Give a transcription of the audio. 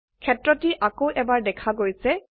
ক্ষেত্ৰটি আকৌ এবাৰ দেখা গৈছে